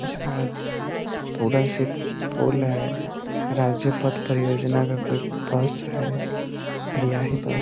उसके बाद से फूल लाया है राज्यपथ परियोजना का एक बस है फिर यही बस --